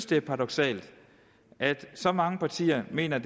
det er paradoksalt at så mange partier mener